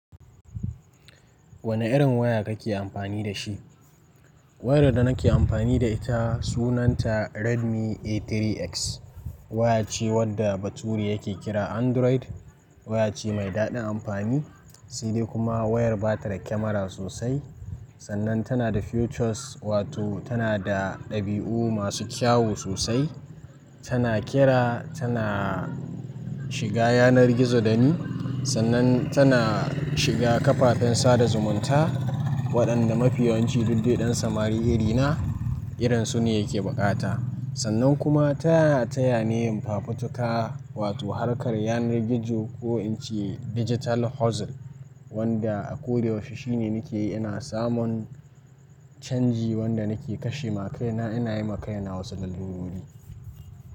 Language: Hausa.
Wane irin waya kake amfani da shi? Wayar da nake amfani da ita sunanta Redmi A3X. Waya ce wadda baturi yake kira Android. Waya ce mai daɗin amfani, sai dai kuma wayar ba ta da kyamara sosai. Sannan tana da features, wato tana da ɗabi'u masu kyawu sosai. Tana kira, tana shiga yanar gizo dani, sannan tana shiga kafafen sada zumunta waɗanda mafi yawanci duk dai ɗan samari irina irinsu ne yake bukata. Sannan kuma tana taya ni yin fafutuka, wato harkar yanar gizo ko in ce digital hustle wanda a ko da yaushe shine nake yi ina samun canji wanda nake kashe makaina ina yi makaina wasu lallurori.